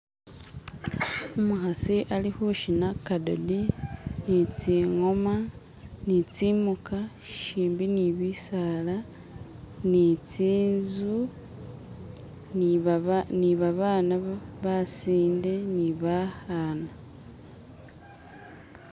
umuhasi ali hushina kadodi nitsingoma ni tsimuka shimbi ni bisaali ni tsinzu ni babana basinde ni bahana